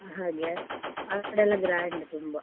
ಹಾಗೆ ಆ ಕಡೆಯೆಲ್ಲ grand ತುಂಬಾ.